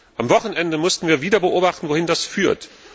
Am Wochenende mussten wir wieder beobachten, wohin das führt.